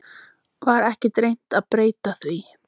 Var ekkert reynt að breyta því?